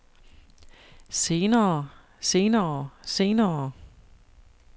senere senere senere